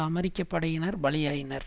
அமெரிக்க படையினர் பலியாயினர்